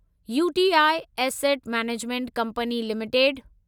UTI asset management company limited